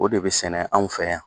O de bɛ sɛnɛ anw fɛ yan